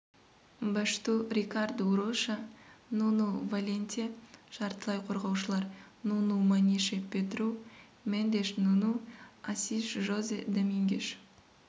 башту рикарду роша нуну валенте жартылай қорғаушылар нуну манише педру мендеш нуну асиш жозе домингеш